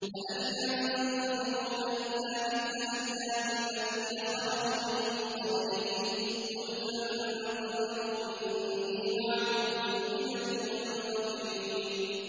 فَهَلْ يَنتَظِرُونَ إِلَّا مِثْلَ أَيَّامِ الَّذِينَ خَلَوْا مِن قَبْلِهِمْ ۚ قُلْ فَانتَظِرُوا إِنِّي مَعَكُم مِّنَ الْمُنتَظِرِينَ